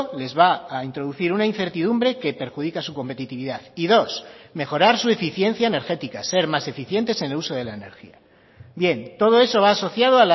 les va a introducir una incertidumbre que perjudica su competitividad y dos mejorar su eficiencia energética ser más eficientes en el uso de la energía bien todo eso va asociado